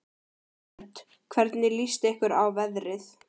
Hödd: Hvernig líst ykkur á veðrið?